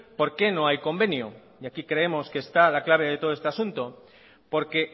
por qué no hay convenio y aquí creemos que está la clave de todo este asunto por qué